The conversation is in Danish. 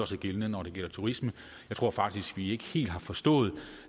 sig gældende når det gælder turismen jeg tror faktisk at vi ikke helt har forstået